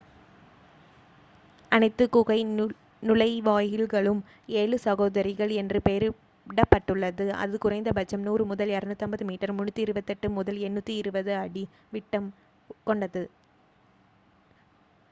"அனைத்து குகை நுழைவாயில்களும் "ஏழு சகோதரிகள்" என்று பெயரிடப்பட்டுள்ளது அது குறைந்தபட்சம் 100 முதல் 250 மீட்டர் 328 முதல் 820 அடி விட்டம் கொண்டது.